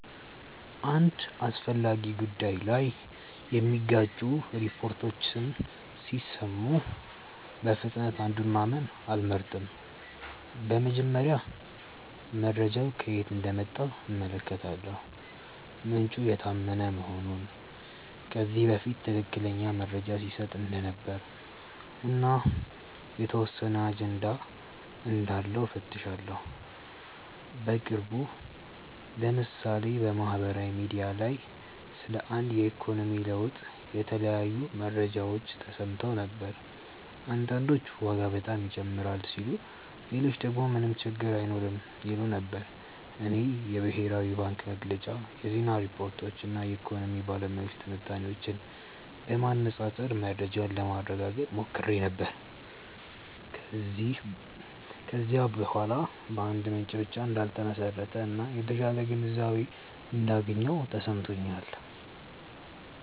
አንድ አስፈላጊ ጉዳይ ላይ የሚጋጩ ሪፖርቶችን ሲሰሙ በፍጥነት አንዱን ማመን አልመርጥም። በመጀመሪያ መረጃው ከየት እንደመጣ እመለከታለሁ፤ ምንጩ የታመነ መሆኑን፣ ከዚህ በፊት ትክክለኛ መረጃ ሲሰጥ እንደነበር እና የተወሰነ አጀንዳ እንዳለው እፈትሻለሁ። በቅርቡ ለምሳሌ በማህበራዊ ሚዲያ ላይ ስለ አንድ የኢኮኖሚ ለውጥ የተለያዩ መረጃዎች ተሰምተው ነበር። አንዳንዶች ዋጋ በጣም ይጨምራል ሲሉ ሌሎች ደግሞ ምንም ችግር አይኖርም ይሉ ነበር። እኔ የብሔራዊ ባንክ መግለጫ፣ የዜና ሪፖርቶች እና የኢኮኖሚ ባለሙያዎች ትንታኔዎችን በማነፃፀር መረጃውን ለማረጋገጥ ሞክሬ ነበር። ከዚያ በኋላ በአንድ ምንጭ ብቻ እንዳልተመሰረተ እና የተሻለ ግንዛቤ እንዳገኘሁ ተሰምቶኛል።